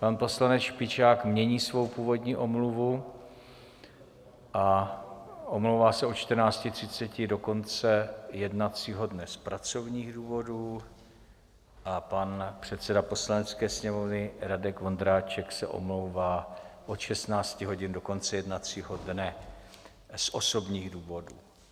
Pan poslanec Špičák mění svou původní omluvu a omlouvá se od 14.30 do konce jednacího dne z pracovních důvodů a pan předseda Poslanecké sněmovny Radek Vondráček se omlouvá od 16 hodin do konce jednacího dne z osobních důvodů.